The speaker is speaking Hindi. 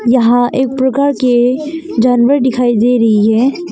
यहां एक प्रकार के जानवर दिखाई दे रही है।